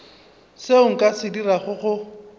seo nka se dirago go